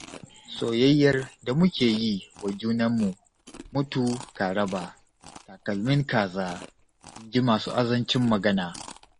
Soyayyar da muke yi wa junanmu mutu ka raba, takalmin kaza in ji masu azancin magana.